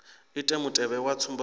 ite mutevhe wa tsumbo dza